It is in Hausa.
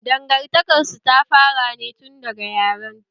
Dangantakar su ta fara ne tun daga yaran ta